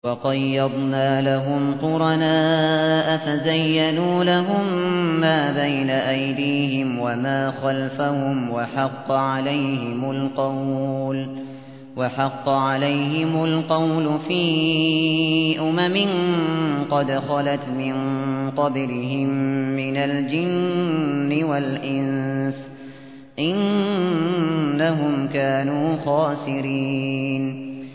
۞ وَقَيَّضْنَا لَهُمْ قُرَنَاءَ فَزَيَّنُوا لَهُم مَّا بَيْنَ أَيْدِيهِمْ وَمَا خَلْفَهُمْ وَحَقَّ عَلَيْهِمُ الْقَوْلُ فِي أُمَمٍ قَدْ خَلَتْ مِن قَبْلِهِم مِّنَ الْجِنِّ وَالْإِنسِ ۖ إِنَّهُمْ كَانُوا خَاسِرِينَ